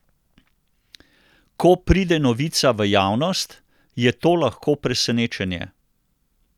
Ko pride novica v javnost, je to lahko presenečenje.